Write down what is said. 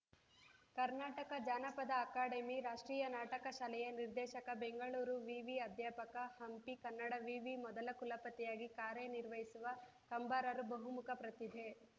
ಕರ್ನಾಟಕ ಜಾನಪದ ಅಕಾಡೆಮಿ ರಾಷ್ಟ್ರೀಯ ನಾಟಕ ಶಾಲೆಯ ನಿರ್ದೇಶಕ ಬೆಂಗಳೂರು ವಿವಿ ಅಧ್ಯಾಪಕ ಹಂಪಿ ಕನ್ನಡ ವಿವಿ ಮೊದಲ ಕುಲಪತಿಯಾಗಿ ಕಾರ್ಯನಿರ್ವಹಿಸಿರುವ ಕಂಬಾರರು ಬಹುಮುಖ ಪ್ರತಿಭೆ